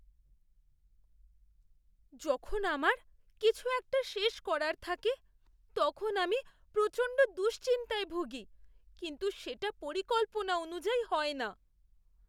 যখন আমার কিছু একটা শেষ করার থাকে তখন আমি প্রচণ্ড দুশ্চিন্তায় ভুগি কিন্তু সেটা পরিকল্পনা অনুযায়ী হয় না!